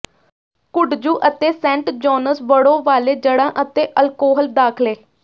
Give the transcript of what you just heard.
kudzu ਅਤੇ saint John's ਵੜੋਂ ਵਾਲੇ ਜੜ੍ਹਾਂ ਅਤੇ ਅਲਕੋਹਲ ਦਾਖਲੇ